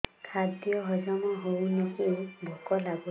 ଖାଦ୍ୟ ହଜମ ହଉନି କି ଭୋକ ଲାଗୁନି